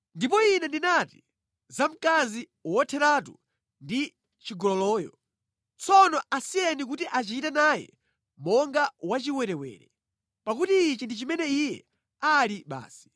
Ndipo ine ndinati za mkazi wotheratu ndi chigololoyo, ‘Tsono asiyeni kuti achite naye monga wachiwerewere, pakuti ichi ndi chimene iye ali basi.’